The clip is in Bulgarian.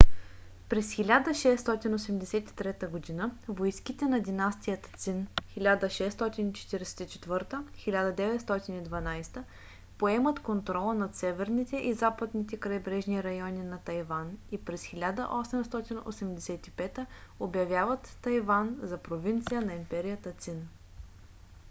през 1683 г. войските на династията цин 1644-1912 поемат контрола над северните и западните крайбрежни райони на тайван и през 1885 обявяват тайван за провинция на империята цин